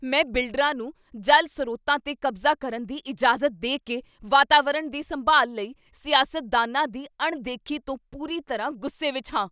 ਮੈਂ ਬਿਲਡਰਾਂ ਨੂੰ ਜਲ ਸਰੋਤਾਂ 'ਤੇ ਕਬਜ਼ਾ ਕਰਨ ਦੀ ਇਜਾਜ਼ਤ ਦੇ ਕੇ ਵਾਤਾਵਰਣ ਦੀ ਸੰਭਾਲ ਲਈ ਸਿਆਸਤਦਾਨਾਂ ਦੀ ਅਣਦੇਖੀ ਤੋਂ ਪੂਰੀ ਤਰ੍ਹਾਂ ਗੁੱਸੇ ਵਿੱਚ ਹਾਂ।